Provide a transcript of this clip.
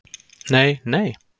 Nei, nei?